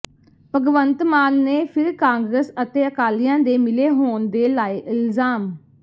ਭਗਵੰਤ ਮਾਨ ਨੇ ਫਿਰ ਕਾਂਗਰਸ ਅਤੇ ਅਕਾਲੀਆਂ ਦੇ ਮਿਲੇ ਹੋਣ ਦੇ ਲਾਏ ਇਲਜ਼ਾਮ